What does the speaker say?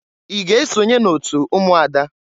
I ga esonye n'otu ụmụada?